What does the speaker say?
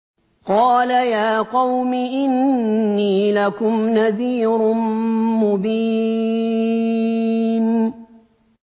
قَالَ يَا قَوْمِ إِنِّي لَكُمْ نَذِيرٌ مُّبِينٌ